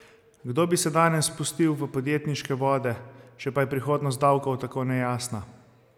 Kdo bi se danes spustil v podjetniške vode, če pa je prihodnost davkov tako nejasna?